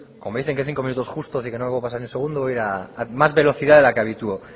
como dicen que cinco minutos justos así que no me voy a pasar ni un segundo voy a más velocidad de la que habitúo